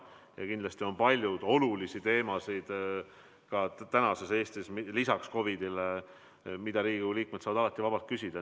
Ja kindlasti on Eestis palju olulisi teemasid lisaks COVID-ile, mille kohta Riigikogu liikmed saavad alati vabalt küsida.